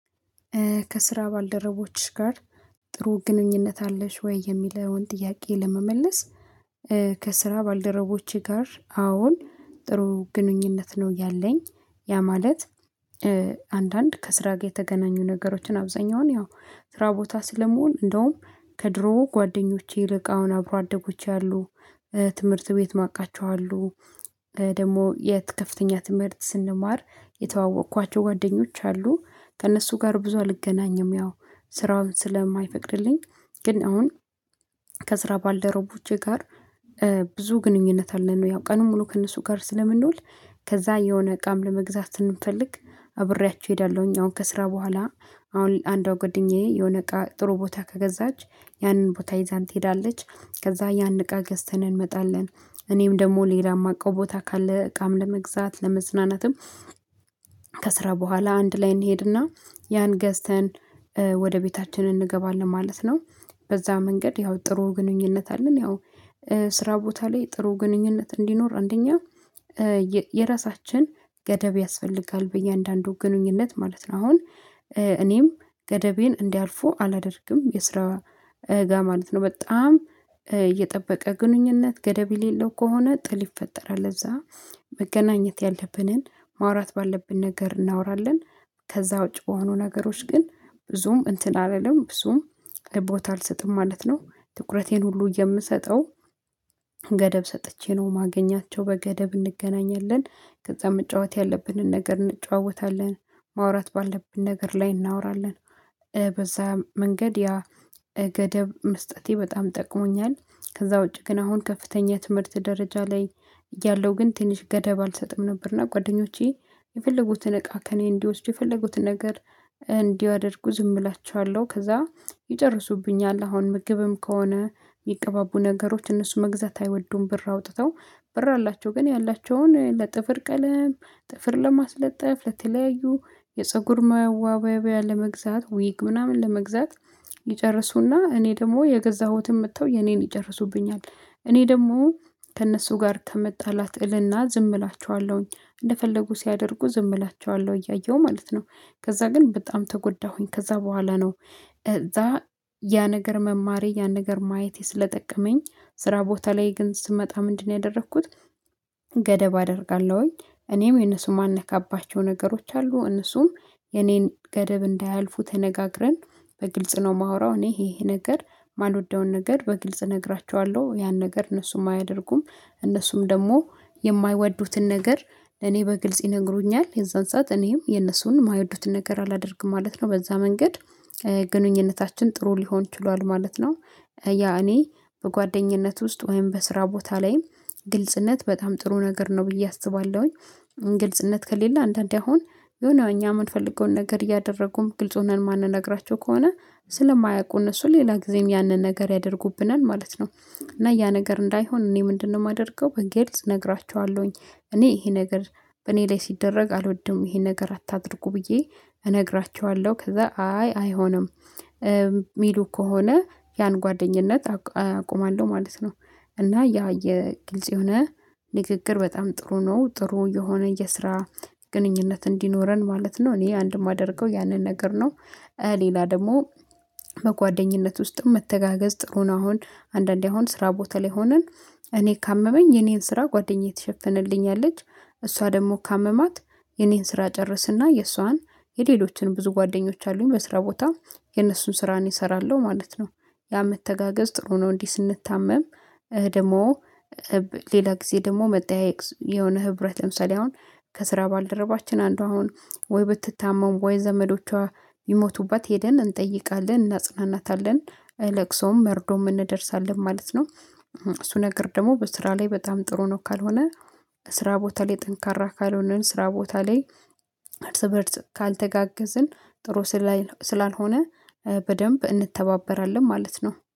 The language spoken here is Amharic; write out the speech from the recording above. ከስራ ባልደረቦችሽ ጋር ጥሩ ግንኙነት አለሽ ወይ? የሚለውን ጥያቄ ለመመለስ ከስራ ባልደረቦቼ ጋር አዎን ጥሩ ግንኙነት ነው ያለኝ። ያ ማለት አንዳንድ ከስራ ጋር የተገናኙ ነገሮችን አብዛኛውን ያው ስራ ቦታ ስለመሆን እንደውም ከድሮ ጓደኞቼ ይልቅ አሁን አብሮ አደጎች አሉ ትምህርት ቤት ማቃቸው አሉ። ደግሞ የት ከፍተኛ ትምህርት ስንማር የተዋወቅኳቸው ጓደኞች አሉ። ከእነሱ ጋር ብዙ አልገናኝም ያው ስራውን ስለማይፈቅድልኝ። ግን አሁን ከስራ ባልደረቦቼ ጋር ብዙ ግንኙነት አለን ነው ያው ቀኑን ሙሉ ከእነሱ ጋር ስለምንውል። ከዛ የሆነ እቃም ለመግዛት ስንፈልግ አብሬያችሁ እሄዳለሁኝ አሁን ከስራ በኋላ አሁን አንዷ ጓደኛዬ የሆነ እቃ ጥሩ ቦታ ከገዛች ያንን ቦታ ይዛን ትሄዳለች ከዛ ያን እቃ ገዝተን እንመጣለን። እኔም ደግሞ ሌላም ማቀው ቦታ ካለ እቃም ለመግዛት ለመዝናናትም። ከስራ በኋላ አንድ ላይ እንሄድና ያን ገዝተን ወደ ቤታችን እንገባለን ማለት ነው። በዛ መንገድ ያው ጥሩ ግንኙነት አለን ያው ስራ ቦታ ላይ ጥሩ ግንኙነት እንዲኖር አንደኛ የራሳችን ገደብ ያስፈልጋል። በእያንዳንዱ ግንኙነት ማለት ነው አሁን እኔም ገደቤን እንዲያልፉ አላደርግም የስራ ጋር ማለት ነው። በጣም የጠበቀ ግንኙነት ገደብ የሌለው ከሆነ ጥል ይፈጠራል። ለዛ መገናኘት ያለብንን ማውራት ባለብን ነገር እናወራለን። ከዛ ውጪ በሆኑ ነገሮች ግን ብዙም እንትን አልልም ብዙም ቦታ አልሰጥም ማለት ነው። ትኩረቴን ሁሉ የምሰጠው ገደብ ሰጥቼ ነው ማገኛቸው በገደብ እንገናኛለን። ከዛ መጫወት ያለብንን ነገር እንጨዋወታለን ማውራት ባለብን ነገር ላይ እናወራለን። በዛ መንገድ ያ ገደብ መስጠቴ በጣም ጠቅሞኛል። ከዛ ውጪ ግን አሁን ከፍተኛ ትምህርት ደረጃ ላይ። ያለው ግን ትንሽ ገደብ አልሰጥም ነበርና ጓደኞቼ የፈለጉትን እቃ ከእኔ እንዲወስዱ የፈለጉትን ነገር። እንዲያደርጉ ዝም እላችኋለሁ ከዛ ይጨርሱብኛል አሁን ምግብም ከሆነ የሚቀባቡ ነገሮች እነሱ መግዛት አይወዱም ብር አውጥተው ብር አላቸው። ግን ያላቸውን ለጥፍር ቀለም ጥፍር ለማስለጠፍ ለተለያዩ የፀጉር ማዋበያ ለመግዛት ዊግ ምናምን ለመግዛት። ይጨርሱና እኔ ደግሞ የገዛሁትን መጥተው የኔን ይጨርሱብኛል። እኔ ደግሞ ከእነሱ ጋር ከመጣላት እልና ዝም እላችኋለሁኝ እንደፈለጉ ሲያደርጉ ዝም እላችኋለሁ እያየሁ ማለት ነው። ከዛ ግን በጣም ተጎዳሁኝ ከዛ በኋላ ነው። እዛ ያ ነገር መማሬ ያን ነገር ማየቴ ስለጠቀመኝ ስራ ቦታ ላይ ግን ስመጣ ምንድነው ያደረኩት? ገደብ አደርጋለሁኝ። እኔም የነሱን የማልነካባቸው ነገሮች አሉ እነሱም የኔን ገደብ እንዳያልፉ ተነጋግረን በግልጽ ነው የማወራው እኔ ይሄ ነገር የማልወደውን ነገር በግልጽ እነግራችኋለሁ ያን ነገር እነሱም አያደርጉም። እነሱም ደግሞ የማይወዱትን ነገር እኔ በግልጽ ይነግሩኛል የዛን ሰዓት እኔም የነሱን የማይወዱትን ነገር አላደርግም ማለት ነው። በዛ መንገድ ግንኙነታችን ጥሩ ሊሆን ችሏል ማለት ነው። ያ እኔ በጓደኝነት ውስጥ ወይም በስራ ቦታ ላይም ግልጽነት በጣም ጥሩ ነገር ነው ብዬ አስባለሁኝ። ግልጽነት ከሌለ አንዳንዴ አሁን የሆነ እኛ የማንፈልገውን ነገር እያደረጉም ግልጽ ሆነን ማንንነግራቸው ከሆነ ስለማያውቁ እነሱ ሌላ ጊዜም ያንን ነገር ያደርጉብናል ማለት ነው። እና ያ ነገር እንዳይሆን እኔ ምንድነው? የማደርገው በግልጽ እነግራችኋለሁኝ። እኔ ይሄ ነገር በእኔ ላይ ሲደረግ አልወድም ይሄን ነገር አታድርጉ ብዬ እነግራችኋለሁ ከዛ አይ አይሆንም የሚሉ ከሆነ ያን ጓደኝነት አቆማለሁ ማለት ነው። እና ያ የግልጽ የሆነ ንግግር በጣም ጥሩ ነው። ጥሩ የሆነ የስራ ግንኙነት እንዲኖረን ማለት ነው እኔ አንድ የማደርገው ያንን ነገር ነው። ሌላ ደግሞ በጓደኝነት ውስጥም መተጋገዝ ጥሩ ነው። አሁን አንዳንዴ አሁን ስራ ቦታ ላይ ሆነን እኔ ካመመኝ የኔን ስራ ጓደኛዬ ትሸፍንልኛለች። እሷ ደግሞ ካመማት የኔን ስራ ጨርስና የእሷን የሌሎችን ብዙ ጓደኞች አሉኝ በስራ ቦታ የነሱን ስራ እኔ እሰራለው ማለት ነው። ያ መተጋገዝ ጥሩ ነው። እንዲህ ስንታመም ደግሞ ሌላ ጊዜ ደግሞ መጠያየቅ የሆነ ህብረት ለምሰሌ አሁን ከስራ ባልደረባችን አንዷ አሁን ወይ ብትታመም ወይ ዘመዶቿ ቢሞቱባት ሄደን እንጠይቃለን እናጽናናታለን። ለቅሶም መርዶም እንደርሳለን ማለት ነው። እሱ ነገር ደግሞ በስራ ላይ በጣም ጥሩ ነው። ካልሆነ ስራ ቦታ ላይ ጠንካራ ካልሆነን ስራ ቦታ ላይ እርስ በእርስ ካልተጋገዝን ጥሩ ስላልሆነ። በደንብ እንተባበራለን ማለት ነው